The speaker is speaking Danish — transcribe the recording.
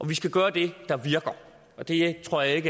vi skal gøre det der virker og det tror jeg ikke